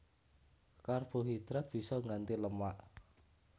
Karbohidrat bisa ngganti lemak